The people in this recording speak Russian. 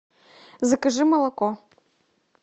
закажи молоко